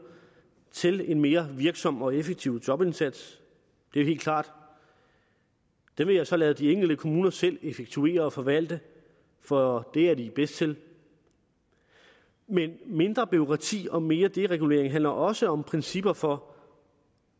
til en mere virksom og effektiv jobindsats det er helt klart det vil jeg så lade de enkelte kommuner selv effektuere og forvalte for det er de bedst til men mindre bureaukrati og mere deregulering handler også om principper for